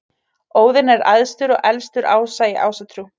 Óðinn er æðstur og elstur ása í Ásatrú.